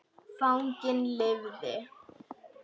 Fanginn lifði.